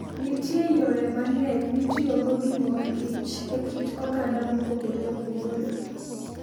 Nitie yore mang'eny mitiyogo gi mor kich e kit oganda mopogore opogore.